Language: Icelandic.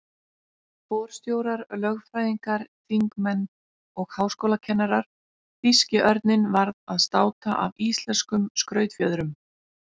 Forstjórar, lögfræðingar, þingmenn og háskólakennarar- þýski örninn varð að státa af íslenskum skrautfjöðrum.